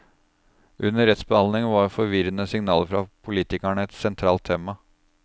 Under rettsbehandlingen var forvirrende signaler fra politikerne et sentralt tema.